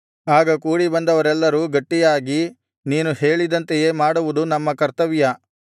ಆಗ ಕೂಡಿಬಂದವರೆಲ್ಲರೂ ಗಟ್ಟಿಯಾಗಿ ನೀನು ಹೇಳಿದಂತೆಯೇ ಮಾಡುವುದು ನಮ್ಮ ಕರ್ತವ್ಯ